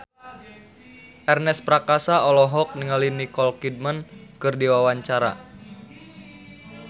Ernest Prakasa olohok ningali Nicole Kidman keur diwawancara